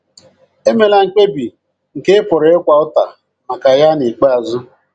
Emela mkpebi nke ị pụrụ ịkwa ụta maka ya n’ikpeazụ.